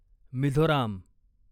Mizoram